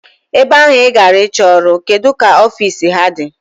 Ebe ahụ I gara ịchọ ọrụ, kedụ ka ofiisi ha dị?